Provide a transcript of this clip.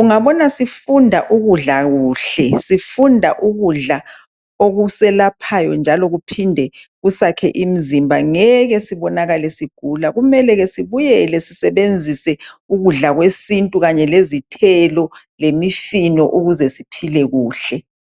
Ungabona sifunda ukudla kuhle, sifunda ukudla okuselaphayo njalo kuphinde kusakhe imzimba ngeke sibonakale sigula kumele ke sibuyele sisebenzise ukudla kwesintu kanye lezithelo lemifino ukuze siphile kuhle.